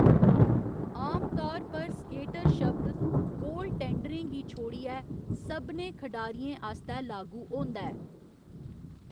आमतौर पर स्केटर शब्द गोल टेंडरें गी छोड़ियै सभनें खढारियें आस्तै लागू होंदा ऐ।